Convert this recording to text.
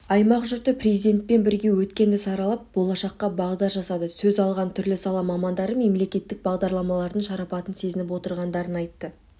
аймақ жұрты президентпен бірге өткенді саралап болашаққа бағдар жасады сөз алған түрлі сала мамандары мемлекеттік бағдарламалардың шарапатын сезініп отырғандарын айтты